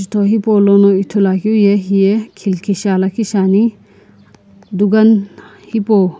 ajuto hepolono ithulu akeu ye heye khilki lakhishiane dukan hepou.